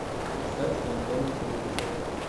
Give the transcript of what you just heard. поставь тнт на телевизоре